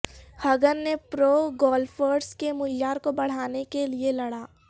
Hagen نے pro golfers کے معیار کو بڑھانے کے لئے لڑا